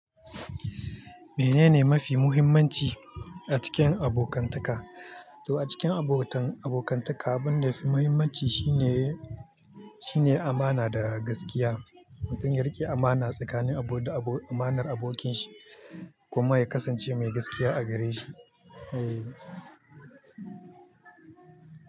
Menene mafi muhimmanci a cikin abokantaka? To a cikin abotan abokantaka, abin da ya fi muhimmanci shine, shine amana da gaskiya. Mutum ya riƙe amana tsakanin abu da abu, amanar abokinshi kuma ya kasance mai gaskiya a gare shi. Eh.